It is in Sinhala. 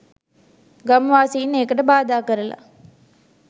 ගම්වාසින් ඒකට බාධා කරල.